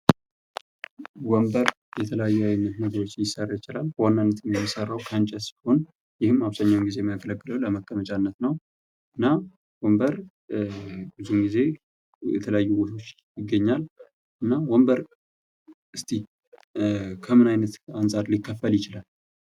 ወንበር ከተለያዪ አይነት ነገሮች ሊሰራ ይችላል። በዋናነትም የሚሰራው ከእንጨት ሲሆን ይህም አብዝሃኛውን ጌዜ የሚያገለግለው ለመቀመጫነት ነው። እና ወንበር ብዙውን ጊዜ የተለያዪ ቦታዎች ይገኛል። እና ወንበር እስኪ ከምን እይነት አንፃር ሊከፈል ይችላል?